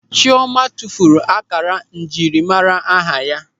Chịọma tụfuru ákárá njiri mmara aha ya.